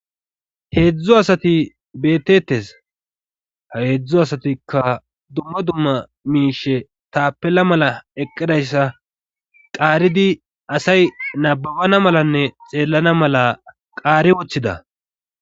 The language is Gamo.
heedzdzu asati bettettes ha heedzdzu asatikka dumma dumma miishe taapela mala eqqidayssa qaaridi asay nababana malanne xeellana mala qaari wothida